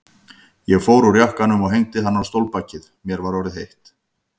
Ég fór úr jakkanum og hengdi hann á stólbakið, mér var orðið heitt.